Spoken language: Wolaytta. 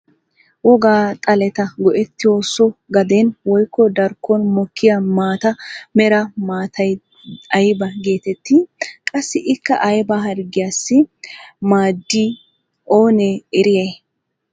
Wogaa xaleta go"ettiyo so gaden woykko darkkon mokkiyaa maata mera maatay aybaa getettii? Qassi ikka ayba harggiyaassi maaddii oonee eriyay?